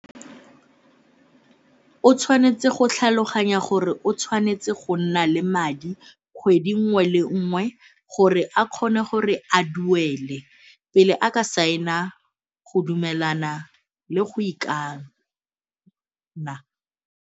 O tshwanetse go tlhaloganya gore o tshwanetse go nna le madi kgwedi nngwe le nngwe gore a kgone gore a duele pele a ka saena go dumelana le go ikana.